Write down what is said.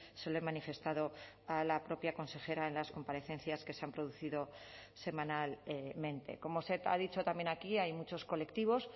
se lo he manifestado a la propia consejera en las comparecencias que se han producido semanalmente como se ha dicho también aquí hay muchos colectivos